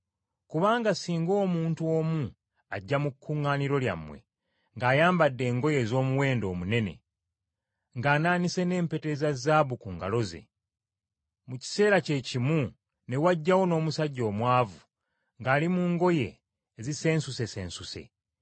Kubanga singa omuntu omu ajja mu kuŋŋaaniro lyammwe, ng’ayambadde engoye ez’omuwendo omunene, ng’anaanise n’empeta eza zaabu ku ngalo ze, mu kiseera kye kimu ne wajjawo n’omusajja omwavu ng’ali mu ngoye ezisensusesensuse,